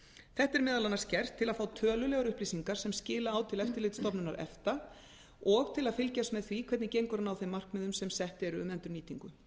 þetta er meðal annars gert til að fá tölulegar upplýsingar sem skila á til eftirlitsstofnunar efta og til að fylgjast með því hvernig gengur að ná þeim markmiðum sem sett eru um endurnýtingu